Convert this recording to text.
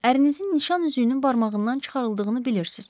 Ərinizin nişan üzüyünün barmağından çıxarıldığını bilirsiz?